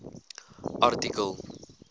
artikel